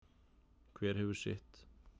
Hver hefur sitt.